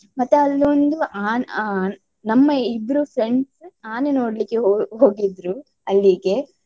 ಮತ್ತೆ ಅಲ್ಲೊಂದು ಆನ್~ ಆನ್~ ನಮ್ಮ ಇಬ್ರು friends ಆನೆ ನೋಡ್ಲಿಕ್ಕೆ ಹೋ~ ಹೋಗಿದ್ರು ಅಲ್ಲಿಗೆ.